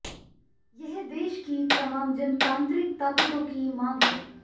यह देश की तमाम जनतांत्रिक ताकतों की मांग है